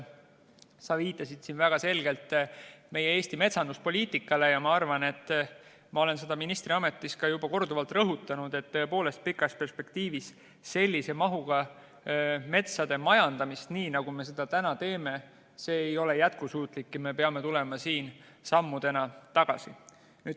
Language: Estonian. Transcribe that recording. Sa viitasid väga selgelt Eesti metsanduspoliitikale ja ma arvan, et ma olen seda ministriametis ka juba korduvalt rõhutanud, et pikas perspektiivis sellise mahuga metsade majandamine, nagu me seda täna teeme, ei ole jätkusuutlik ja me peame tulema siin mitu sammu tagasi.